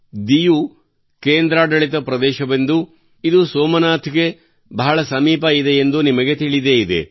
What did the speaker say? ದಿಯು ಕೇಂದ್ರಾಡಳಿತ ಪ್ರದೇಶವೆಂದೂ ಇದು ಸೋಮನಾಥ್ ಗೆ ಬಹಳ ಸಮೀಪವಿದೆಯೆಂದೂ ನಿಮಗೆ ತಿಳಿದೇ ಇದೆ